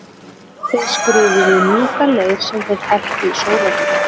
þeir skrifuðu í mjúkan leir sem þeir hertu í sólarhitanum